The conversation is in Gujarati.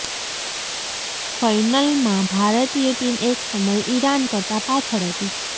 ફઇનલમાં ભારતીય ટીમ એક સમયે ઇરાન કરતાં પાછળ હતી